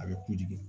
A bɛ kuji de